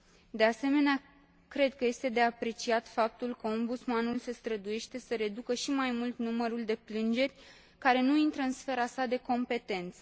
De asemenea, cred că este de apreciat faptul că Ombudsmanul se străduiește să reducă și mai mult numărul de plângeri care nu intră în sfera sa de competență.